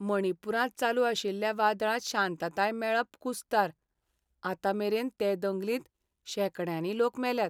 मणिपुरांत चालू आशिल्ल्या वादळांत शांताताय मेळप कुस्तार, आतां मेरेन ते दंगलींत शेकड्यांनी लोक मेल्यात.